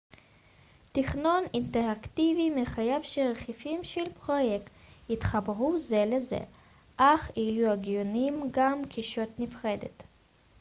תכנון אינטראקטיבי מחייב שרכיבים של פרויקט יתחברו זה לזה אך יהיו הגיוניים גם כישות נפרדת